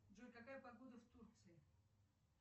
джой какая погода в турции